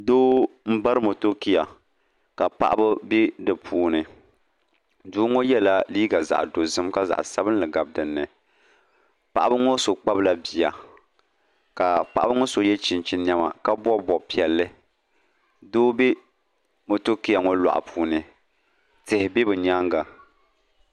Doo m-bari motokia ka paɣiba be di puuni doo ŋɔ yɛla liiga zaɣ' dozim ka zaɣ' sabinli gabi din ni paɣiba ŋɔ so kpabila bia ka paɣiba so ye chinchini nɛma ka bɔbi bɔb' piɛlli doo be motokia ŋɔ lɔɣu puuni tihi be bɛ nyaaŋa